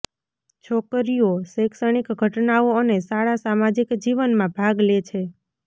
છોકરીઓ શૈક્ષણિક ઘટનાઓ અને શાળા સામાજિક જીવનમાં ભાગ લે છે